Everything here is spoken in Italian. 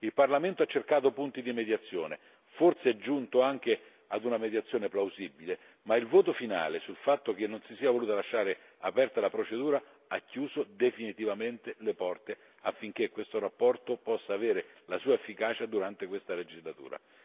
Il Parlamento ha cercato punti di mediazione, forse è giunto anche ad una mediazione plausibile, ma il voto finale sul fatto che non si sia voluta lasciare aperta la procedura ha chiuso definitivamente le porte affinché questa relazione possa avere la sua efficacia durante questa legislatura.